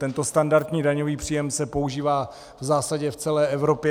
Tento standardní daňový příjem se používá v zásadě v celé Evropě.